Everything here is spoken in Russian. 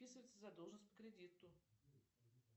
списывается задолженность по кредиту